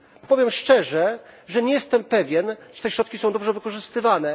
Powiem szczerze, że nie jestem pewien, czy te środki są dobrze wykorzystywane.